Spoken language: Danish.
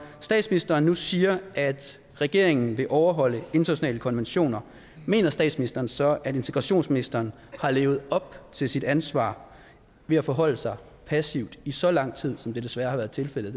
statsministeren nu siger at regeringen vil overholde internationale konventioner mener statsministeren så at integrationsministeren har levet op til sit ansvar ved at forholde sig passivt i så lang tid som det desværre har været tilfældet